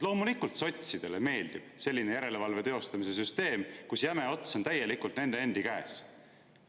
Loomulikult meeldib sotsidele selline järelevalve teostamise süsteem, kus jäme ots on täielikult nende endi käes.